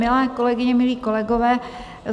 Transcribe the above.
Milé kolegyně, milí kolegové.